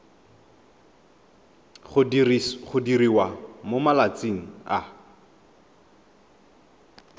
go diriwa mo malatsing a